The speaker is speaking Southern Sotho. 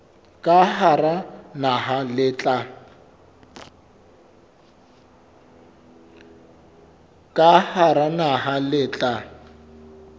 ka hara naha le tla